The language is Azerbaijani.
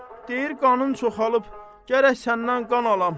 deyir qanın çoxalıb, gərək səndən qan alam.